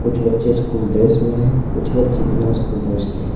कुछ बच्चे school dress में हैं कुछ बच्चे बिना स्कूल ड्रेस के हैं।